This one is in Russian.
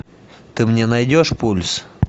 ты мне найдешь пульс